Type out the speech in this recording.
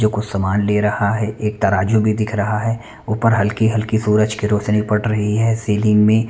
जो कुछ सामान ले रहा है एक तराज़ू भी दिख रहा है ऊपर हल्की-हल्की सूरज की रौशनी पड़ रही है सीलिंग में--